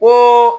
Ko